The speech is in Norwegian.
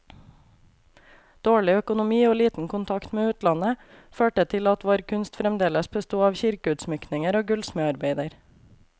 Dårlig økonomi og liten kontakt med utlandet, førte til at vår kunst fremdeles besto av kirkeutsmykninger og gullsmedarbeider.